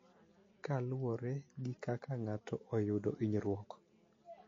Kaluwore gi kaka ng�ato oyudo hinyruok,